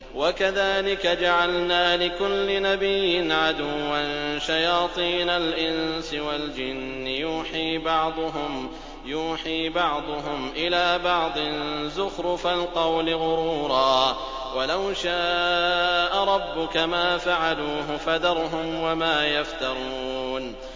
وَكَذَٰلِكَ جَعَلْنَا لِكُلِّ نَبِيٍّ عَدُوًّا شَيَاطِينَ الْإِنسِ وَالْجِنِّ يُوحِي بَعْضُهُمْ إِلَىٰ بَعْضٍ زُخْرُفَ الْقَوْلِ غُرُورًا ۚ وَلَوْ شَاءَ رَبُّكَ مَا فَعَلُوهُ ۖ فَذَرْهُمْ وَمَا يَفْتَرُونَ